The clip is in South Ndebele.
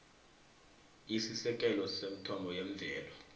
isisekelo semithombo yemvelo